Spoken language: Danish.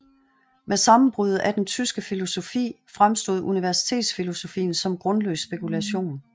Med sammenbruddet af den tyske filosofi fremstod universitetsfilosofien som grundløs spekulation